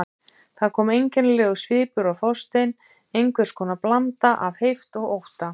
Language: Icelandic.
Það kom einkennilegur svipur á Þorstein, einhvers konar blanda af heift og ótta.